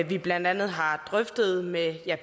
vi blandt andet har drøftet med